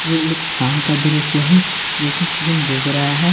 यह एक शाम का दृश्य है जो कि क्लीन डूब रहा है।